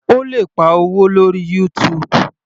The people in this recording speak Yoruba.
O lè pa owó lórí YouTube.